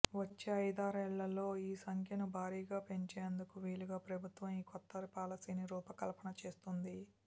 వచ్చే ఐదారేళ్లలో ఈ సంఖ్యను భారీగా పెంచేందుకు వీలుగా ప్రభుత్వం ఈ కొత్త పాలసీకి రూపకల్పన చేస్తోంది